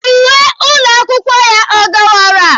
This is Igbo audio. Uwe ụlọ akwụkwọ ya ọ dọwara?